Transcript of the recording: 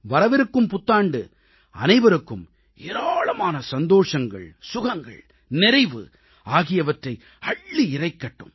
வரவிருக்கும் புத்தாண்டு அனைவருக்கும் ஏராளமான சந்தோஷங்கள் சுகங்கள் நிறைவு ஆகியவற்றை அள்ளி இறைக்கட்டும்